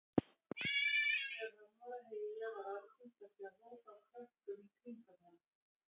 Þegar hann var að heyja var algengt að sjá hóp af krökkum í kringum hann.